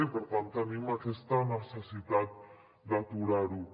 i per tant tenim aquesta necessitat d’aturar ho